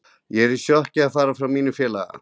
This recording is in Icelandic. Ég er í sjokki að fara frá mínu félagi.